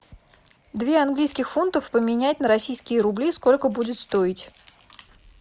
две английских фунтов поменять на российские рубли сколько будет стоить